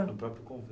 No próprio